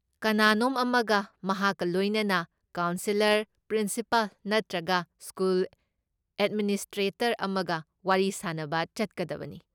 ꯀꯅꯥꯅꯣꯝ ꯑꯃꯒ ꯃꯍꯥꯛꯀ ꯂꯣꯏꯅꯅ ꯀꯥꯎꯟꯁꯦꯂꯔ, ꯄ꯭ꯔꯤꯟꯁꯤꯄꯥꯜ ꯅꯠꯇ꯭ꯔꯒ ꯁ꯭ꯀꯨꯜ ꯑꯦꯗꯃꯤꯅꯤꯁꯇ꯭ꯔꯦꯇꯔ ꯑꯃꯒ ꯋꯥꯔꯤ ꯁꯥꯅꯕ ꯆꯠꯀꯗꯕꯅꯤ꯫